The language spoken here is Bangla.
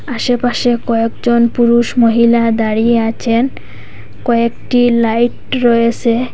আশেপাশে কয়েকজন পুরুষ মহিলা দাঁড়িয়ে আছেন কয়েকটি লাইট রয়েসে।